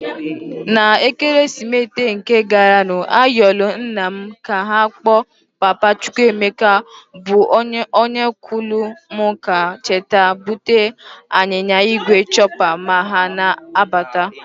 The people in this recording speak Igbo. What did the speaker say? Na Ekeresimite nke garanụ ayọlụ nna m ka ọkpọ papa Chukwuemeka bụ ọnkụlụ m ka ha cheta bute ya anyịnya igwe chopper ma ha na-abata.